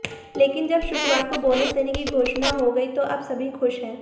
लेकिन जब शुक्रवार को बोनस देने की घोषणा हो गयी तो अब सभी खुश हैं